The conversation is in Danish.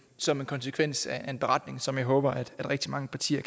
som en konsekvens af en beretning som jeg håber at rigtig mange partier